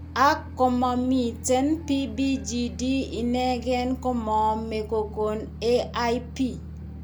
Ak, komaamiiten PBGD ineken komaame kokoon AIP.